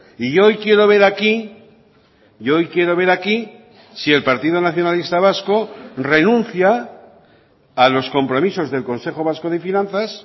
y yo hoy quiero ver aquí yo hoy quiero ver aquí si el partido nacionalista vasco renuncia a los compromisos del consejo vasco de finanzas